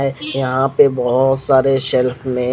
यहाँ पे भोत सारे शेल्फ में--